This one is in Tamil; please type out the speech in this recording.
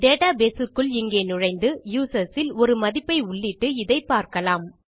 டேட்டாபேஸ் க்குள் இங்கே நுழைந்து யூசர்ஸ் இல் ஒரு மதிப்பை உள்ளிட்டு இதை பார்க்கலாம்